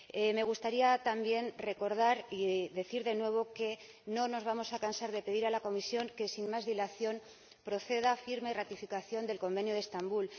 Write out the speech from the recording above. Me gustaría también recordar y decir de nuevo que no nos vamos a cansar de pedir a la Comisión que, sin más dilación, proceda a la firma y ratificación del Convenio de Estambul.